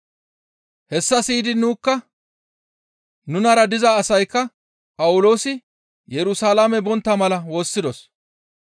Hessa siyidi nunikka nunara diza asaykka Phawuloosi Yerusalaame bontta mala woossidos.